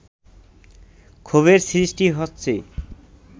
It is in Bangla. ক্ষোভের সৃষ্টি হচ্ছে